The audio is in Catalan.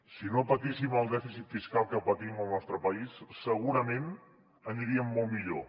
si no patíssim el dèficit fiscal que patim al nostre país segurament aniríem molt millor